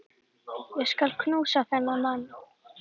Ég skal knúsa þennan mann!